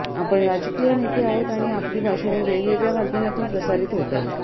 आपण राजकीय नेते आहोत आणि आपली भाषणे वेगवेगळ्या माध्यमातून प्रसारित होतात